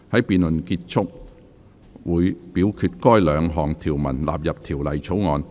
辯論結束後，會表決該兩項條文納入條例草案。